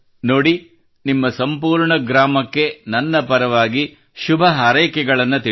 ನೋಡಿ ನಿಮ್ಮ ಸಂಪೂರ್ಣ ಗ್ರಾಮಕ್ಕೆ ನನ್ನ ಪರವಾಗಿ ಶುಭಹಾರೈಕೆಗಳನ್ನು ತಿಳಿಸಿ